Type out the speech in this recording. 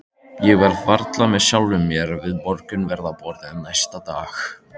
Ég var varla með sjálfri mér við morgunverðarborðið næsta dag.